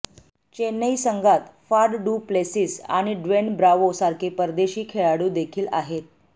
चेन्नई संगात Faf du Plessis आणि Dwayne Bravo सारखे परदेशी खेळाडू देखील आहेत